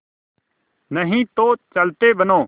नहीं तो चलते बनो